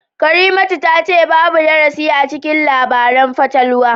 Karimatu tace babu darasi acikin labaran fatalwa